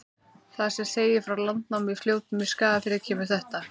Þar sem segir frá landnámi í Fljótum í Skagafirði, kemur þetta: